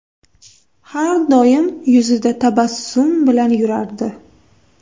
Har doim yuzida tabassum bilan yurardi”.